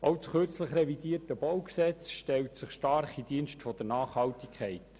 Auch das kürzlich revidierte BauG stellt sich stark in den Dienst der Nachhaltigkeit.